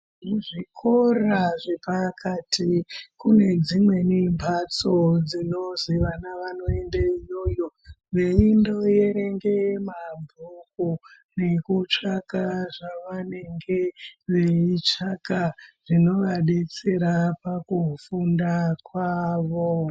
Muzvikora zvepakati kune dzimwe mhatso dzinozi vana vanoende iyoyo veindoerenge mabhuku nekutsvake zvavanenge veitsvaka zvinovadetsera pakufunda kwawo.